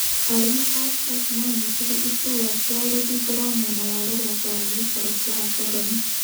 Arũme a Stark maanyitire iturwa ciao rũthingo rwa mwena wa rũgongo wa gĩikaro kĩa Akoroni